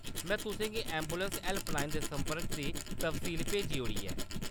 में तुसें गी ऐंबुलैंस हैल्पलाइन दे संपर्क दी तफसील भेजी ओड़ी ऐ।